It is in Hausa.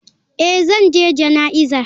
Eh zan je jana'iza.